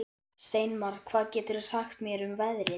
Steinmar, hvað geturðu sagt mér um veðrið?